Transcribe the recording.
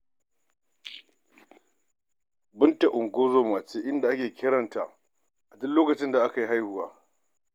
Binta ungozoma ce, inda ake kiran ta a duk lokacin da mace za ta haihu.